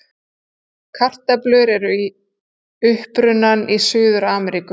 Kartöflur eru upprunnar í Suður-Ameríku.